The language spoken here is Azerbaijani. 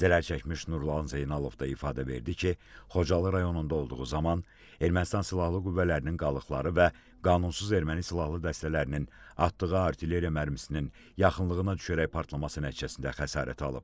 Zərər çəkmiş Nurlan Zeynalov da ifadə verdi ki, Xocalı rayonunda olduğu zaman Ermənistan silahlı qüvvələrinin qalıqları və qanunsuz erməni silahlı dəstələrinin atdığı artilleriya mərmisinin yaxınlığına düşərək partlaması nəticəsində xəsarət alıb.